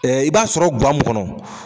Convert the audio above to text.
Ɛɛ i b'a sɔrɔ ŋa mun kɔnɔ